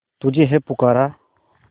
तुझे है पुकारा